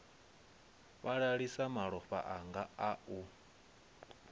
fhalalisa malofha anga a u